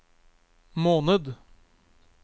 måned